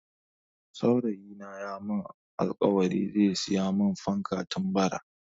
Saurayi na ya mun alkawarin zai siya mun fanka tun Bara